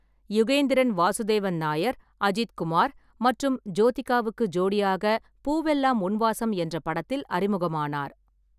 யுகேந்திரன் வாசுதேவன் நாயர் அஜித் குமார் மற்றும் ஜோதிகாவுக்கு ஜோடியாக பூவெல்லம் உன் வாசம் என்ற படத்தில் அறிமுகமானார்.